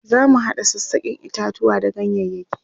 zamu hada sassaken itatuwa da ganyayaki